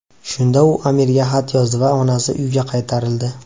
Shunda u amirga xat yozdi va onasi uyga qaytarildi.